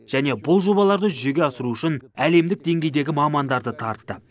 және бұл жобаларды жүзеге асыру үшін әлемдік деңгейдегі мамандарды тартты